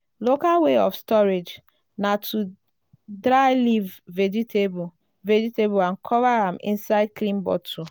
local way of storage na to dry leaf vegetable vegetable and cover am inside clean bottle.